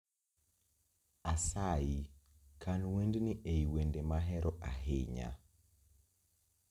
Asayi, kan wend ni ei wende mahero ahinya